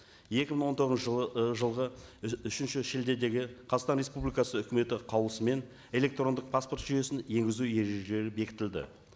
екі мың он тоғызыншы жылы ы жылғы үшінші шілдедегі қазақстан республикасы үкіметі қаулысымен электрондық паспорт жүйесін енгізу ережелері бекітілді